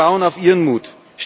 Wir bauen auf Ihren Mut.